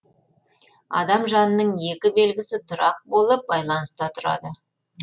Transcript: адам жанының екі белгісі тұрақ болып байланыста тұрады